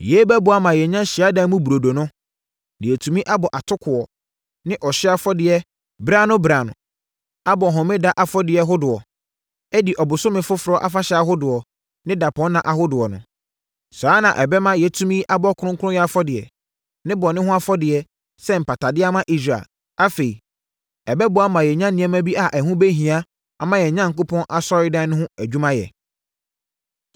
Yei bɛboa ama yɛanya Hyiadan mu Burodo no, na yɛatumi abɔ atokoɔ ne ɔhyeɛ afɔdeɛ berɛ ano berɛ ano, abɔ homeda afɔdeɛ hodoɔ, adi ɔbosome foforɔ afahyɛ ahodoɔ ne dapɔnna ahodoɔ no. Saa ara na ɛbɛma yɛatumi abɔ kronkronyɛ afɔdeɛ ne bɔne ho afɔdeɛ sɛ mpatadeɛ ama Israel. Afei, ɛbɛboa ama yɛanya nneɛma bi a ɛho bɛhia ama yɛn Onyankopɔn Asɔredan no ho adwumayɛ.